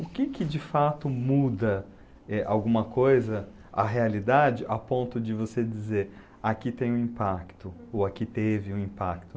O que que de fato muda, eh, alguma coisa, a realidade, a ponto de você dizer, aqui tem um impacto, ou aqui teve um impacto?